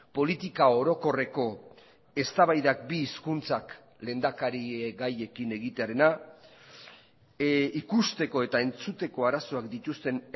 politika orokorreko eztabaidak bi hizkuntzak lehendakarigaiekin egitearena ikusteko eta entzuteko arazoak dituzten